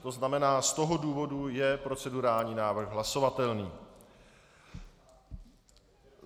To znamená, z toho důvodu je procedurální návrh hlasovatelný.